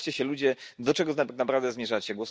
Zastanówcie się ludzie, do czego tak naprawdę zmierzacie.